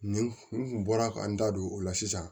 Nin kun bɔra ka n da don o la sisan